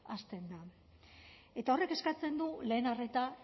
hasten da eta horrek eskatzen du lehen arreta